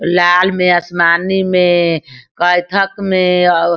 लाल में आसमानी में कैथक मे --